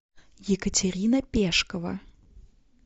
екатерина пешкова